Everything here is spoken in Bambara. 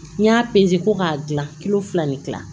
N y'a peze ko k'a dilan kilo fila de dilan